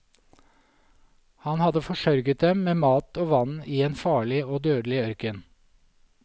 Han hadde forsørget dem med mat og vann i en farlig og dødelig ørken.